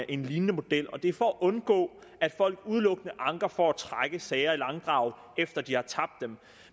en lignende model og det er for at undgå at folk udelukkende anker for at trække sager i langdrag efter de har tabt dem